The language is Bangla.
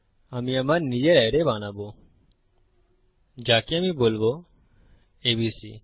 আমি আমার নিজের অ্যারে বানাবোযাকে আমি বলবো এবিসি